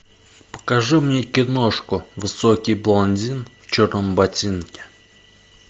покажи мне киношку высокий блондин в черном ботинке